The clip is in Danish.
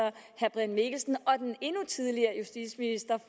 brian mikkelsen og den endnu tidligere justitsminister